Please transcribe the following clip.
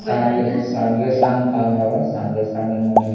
ସାଙ୍ଗେ ସାଙ୍ଗେ କାମ ହୁଏ ସେଠି